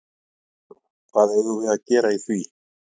Maður: Hvað eigum við að gera í því?